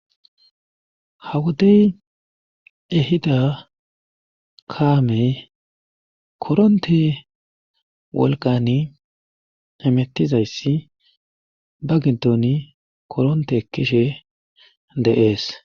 ha wodey ehida kaamey koronte wolqani hemettizayssi ba gidoni koronte ekishe dee'es